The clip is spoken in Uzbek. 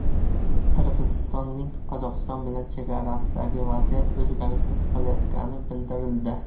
Qirg‘izistonning Qozog‘iston bilan chegarasidagi vaziyat o‘zgarishsiz qolayotgani bildirildi.